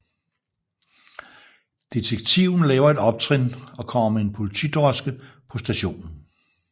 Detektiven laver et optrin og kommer med en politidroske på stationen